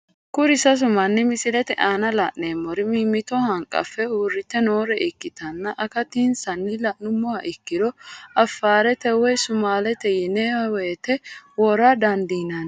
Kuri sasu mani misilete aana la'neemori mimito hanqafe uurite noore ikkitanna, akatinsanni la'numoha ikkiro afarete woyi sumaalete yine woto wora dandinanni